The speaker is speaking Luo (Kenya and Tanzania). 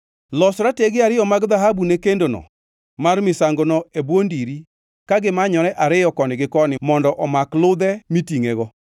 Los ratege ariyo mag dhahabu ne kendono mar misangono e bwo ndiri ka gimanyore ariyo koni gi koni mondo omak ludhe mitingʼego.